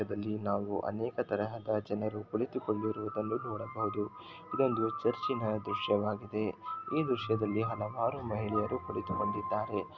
ಚಿತ್ರದಲ್ಲಿ ನಾವು ಅನೇಕ ತರಹದ ಜನರು ಕುಳಿತುಕೊಂಡಿರುವುದನ್ನು ನೋಡಬಹುದು ಇದೊಂದು ಚರ್ಚಿನ ದೃಶ್ಯವಾಗಿದೆ ಈ ದೃಶ್ಯದಲ್ಲಿ ಹಲವಾರು ಹಲವಾರು ಮಹಿಳೆಯರು ಕುಳಿತುಕೊಂಡಿದ್ದಾರೆ.